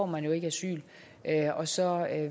man ikke asyl og så